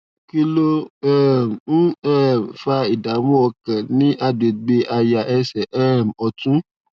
kí ló um ń um fa ìdààmú ọkàn ní àgbègbè àyà ẹsè um òtún